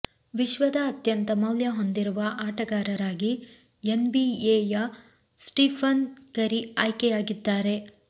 ವಿಶ್ವದ ಅತ್ಯಂತ ಮೌಲ್ಯ ಹೊಂದಿರುವ ಆಟಗಾರರಾಗಿ ಎನ್ ಬಿಎಯ ಸ್ಟೀಫನ್ ಕರಿ ಆಯ್ಕೆಯಾಗಿದ್ದಾರೆ